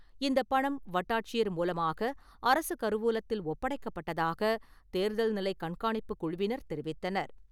இந்தப் பணம் வட்டாட்சியர் மூலமாக அரசு கருவூலத்தில் ஒப்படைக்கப்பட்டதாக தேர்தல் நிலைக் கண்காணிப்புக் குழுவினர் தெரிவித்தனர்.